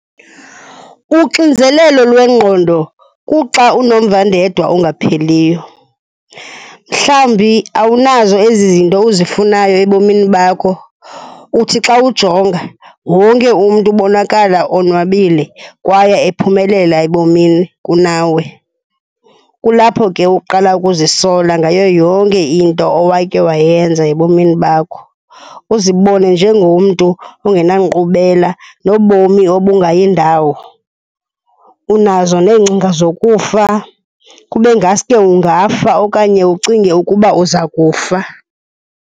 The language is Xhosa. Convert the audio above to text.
Uxinzelelo lwengqondo kuxa unomvandedwa ongapheliyo. Mhlawumbi awunazo ezi zinto uzifunayo ebomini bakho. Uthi xa ujonga, wonke umntu ubonakala onwabile kwaye ephumelela ebomini kunawe. Kulapho ke uqala ukuzisola ngayo yonke into owakhe wayenza ebomini bakho, uzibone njengomntu ongenankqubela nobomi obungayi ndawo. Unazo neengcinga zokufa. Kube ngaske ungafa okanye ucinge ukuba uza kufa.